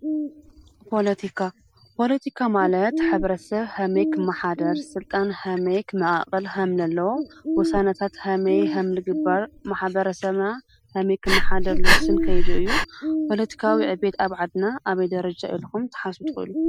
ፖለቲካ፦ ፖለቲካ ማለት ሕብረተሰብ ከመይ ክማሓደር ስልጣን ከመይ ክመቃቀል ከምዘለዎ ውሳነታት ከመይ ከምዝግበር ሕብረተሰብ ከመይ ክመሓደር ዝውስን ከይዲ እዩ። ፖለቲካዊ ዕብየት ኣብ ዓድና አበይ ደረጃ ይከውን ኢልኩም ክትሓስቡ ትክእሉ?